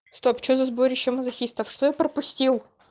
стоп то за сборище мазохистов что я пропустил